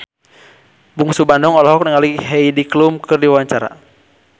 Bungsu Bandung olohok ningali Heidi Klum keur diwawancara